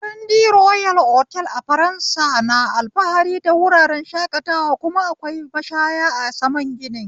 Girandi royal otal a ƙasar faransa na alfahari da wurin shakatawa, kuma akwai mashaya a saman gini